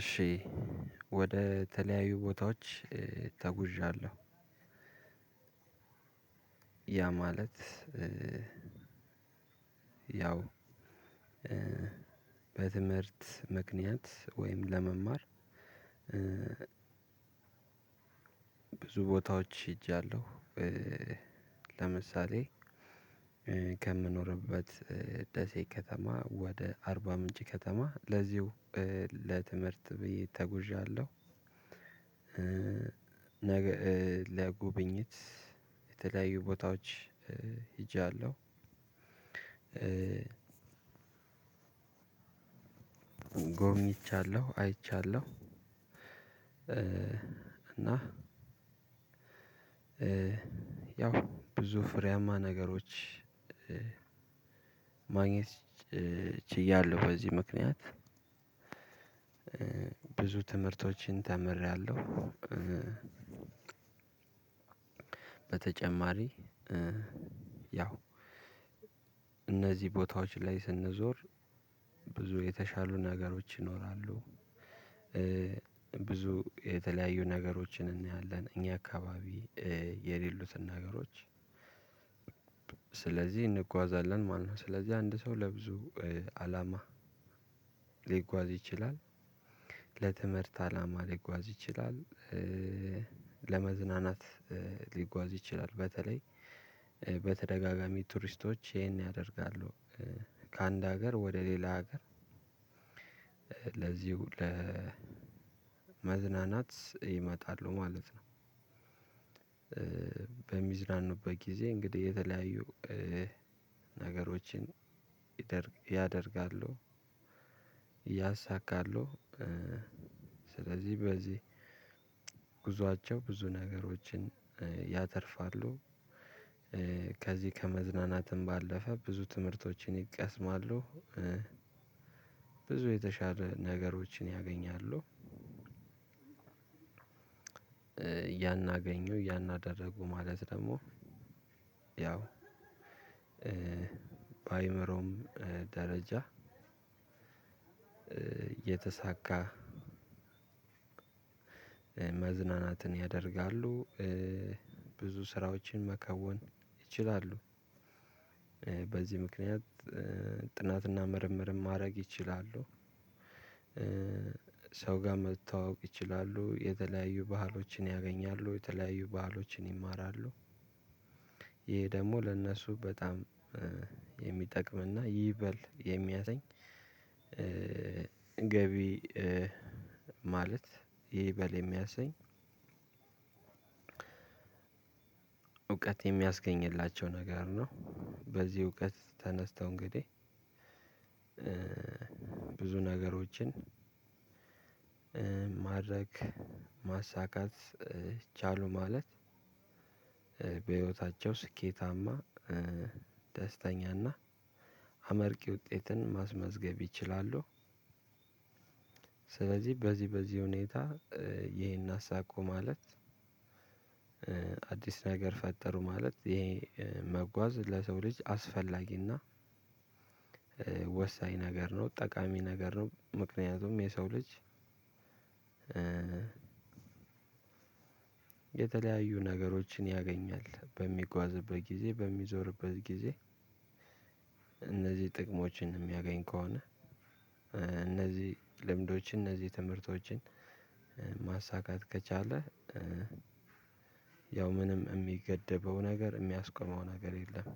እሺ ወደ ተለያዩ ቦታዎች ተጉዣለሁ። ያ ማለት ያው በትምህርት ምክንያት ወይም ለመማር ብዙ ቦታዎች ሄጃለሁ። ለምሳሌ ከምኖርበት ደሴ ከተማ ወደ አርባ ምንጭ ከተማ ለዚሁ ለትምህርት ብዬ ተጉዣለሁ። ለጉብኝት የተለያዩ ቦታዎች ሄጃለሁ። ጎብኝቻለሁ አይቻለሁ። እና ያው ብዙ ፍርያማ ነገሮች ማግኘት ችያለሁ በዚህ ምክንያት። ብዙ ትምህርቶችን ተምሬያለሁ። በተጨማሪ ያው እነዚህ ቦታዎች ላይ ስንዞር ብዙ የተሻሉ ነገሮች ይኖራሉ። ብዙ የተለያዩ ነገሮችን እናያለን። እኛ አካባቢ የሌሉትን ነገሮች ስለዚህ እንጓዛለን ማለት ነው። ስለዚህ አንድ ሰው ለብዙ አላማ ሊጓዝ ይችላል። ለትምህርት አላማ ሊጓዝ ይችላል። ለመዝናናት ሊጓዝ ይችላል። በተለይ በተደጋጋሚ ቱሪስቶች ይሄን ያደርጋሉ። ከአንድ ሀገር ወደ ሌላ ሀገር ለዚሁ ለመዝናናት ይመጣሉ ማለት ነው። በሚዝናኑበት ጊዜ እንግዲህ የተለያዩ ነገሮችን ያደርጋለሁ ያሳካለሁ። ስለዚህ በዚህ ጉዟቸው ብዙ ነገሮችን ያተርፋሉ። ከዚህ ከመዝናናትም ባለፈ ብዙ ትምህርቶችን ይቀስማሉ። ብዙ የተሻለ ነገሮችን ያገኛሉ። ያን አገኙ ያን አደረጉ ማለት ደግሞ ያው በአይምሮም ደረጃ የተሳካ መዝናናትን ያደርጋሉ። ብዙ ስራዎችን መከወን ይችላሉ። በዚህ ምክንያት ጥናትና ምርምርም ማድረግ ይችላሉ። ሰው ጋር መተዋወቅ ይችላሉ። የተለያዩ ባህሎችን ያገኛሉ። የተለያዩ ባህሎችን ይማራሉ። ይሄ ደግሞ ለእነሱ በጣም የሚጠቅም እና ይበል የሚያሰኝ ገቢ ማለት ይበል የሚያሰኝ እውቀት የሚያስገኝላቸው ነገር ነው። በዚህ እውቀት ተነስተው እንግዲህ ብዙ ነገሮችን ማድረግ ማሳካት ቻሉ ማለት በህይወታቸው ስኬታማ ደስተኛና አመርቂ ውጤትን ማስመዝገብ ይችላሉ። ስለዚህ በዚህ በዚህ ሁኔታ ይሄን አሳክቶ ማለፍ አዲስ ነገር ፈጠሩ ማለት ይሄ መጓዝ ለሰው ልጅ አስፈላጊና ወሳኝ ነገር ነው። ጠቃሚ ነገር ነው። ምክንያቱም የሰው ልጅ የተለያዩ ነገሮችን ያገኛል። በሚጓዝበት ጊዜ በሚዞርበት ጊዜ እነዚህ ጥቅሞችን የሚያገኝ ከሆነ እነዚህ ልምዶች እነዚህ ትምህርቶችን ማሳካት ከቻለ ያው ምንም የሚገድበው ነገር የሚያስቆመው ነገር የለም።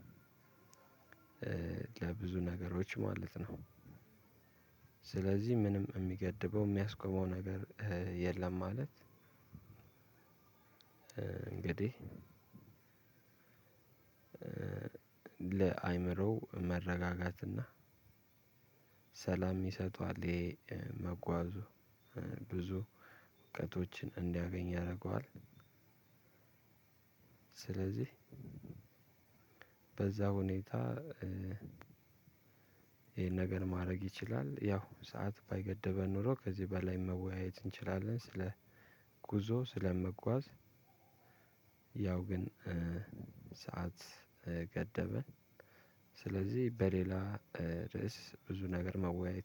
ለብዙ ነገሮች ማለት ነው። ስለዚህ ምንም የሚገድበው የሚያስቆመው ነገር የለም ማለት እንግዲህ ለአእምሮ መረጋጋትና ሰላም ይሰጠዋል። ይሄ መጓዙ ብዙ እውቀቶችን እንዲያገኝ ያደርገዋል። ስለዚህ በዛ ሁኔታ ይሄን ነገር ማድረግ ይችላል ያው ሰዓት ባይገድበን ኖሮ ከዚህ በላይ መወያየት እንችላለን ስለ ጉዞ ስለመጓዝ። ያው ግን ሰዓት ገደበን። ስለዚህ በሌላ ርዕስ ብዙ ነገር መወያየት